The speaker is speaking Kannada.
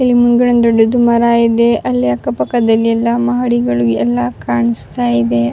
ಇಲ್ ಮುಂದ್ಗಡೆ ಒಂದು ದೊಡ್ಡ ಮರ ಇದೆ ಅಲ್ಲಿ ಅಕ್ಕ ಪಕ್ಕದಲ್ಲಿ ಎಲ್ಲ ಮಹಡಿಗಳು ಎಲ್ಲ ಕಾಣಿಸ್ತಾ ಇದೆ-